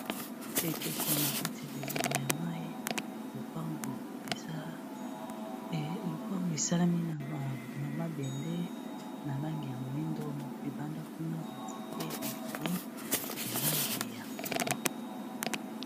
Likeko na kati ya leziba ya mai lupango esalami na mabende na langi ya moindo, libanda kuna banzete ya milai ya langi ya pundu.